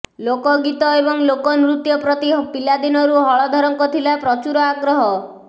ଲୋକଗୀତ ଏବଂ ଲୋକନୃତ୍ୟ ପ୍ରତି ପିଲାଦିନରୁ ହଳଧରଙ୍କ ଥିଲା ପ୍ରଚୁର ଆଗ୍ରହ